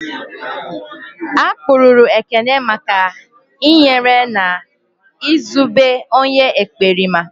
A kpụrụru Ekene maka i nyere na Ị zobe onye ekperima